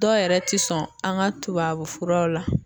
Dɔw yɛrɛ tɛ sɔn an ka tubabufuraw la.